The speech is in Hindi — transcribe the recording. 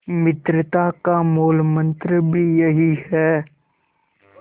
मित्रता का मूलमंत्र भी यही है